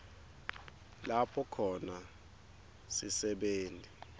lapho khona sisebenti